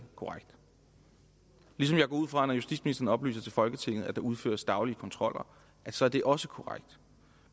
korrekt ligesom jeg går ud fra at når justitsministeren oplyser til folketinget at der udføres daglige kontroller så er det også korrekt